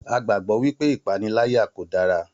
A gbàgbọ́ wípé ìpaniláyà kò dára